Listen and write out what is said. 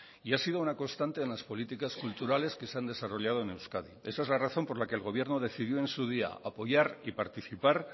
y ha sido una constante en las políticas culturales que se han desarrollado en euskadi esa es la razón por la que el gobierno decidió en su día apoyar y participar